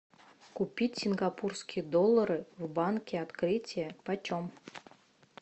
купить сингапурские доллары в банке открытие почем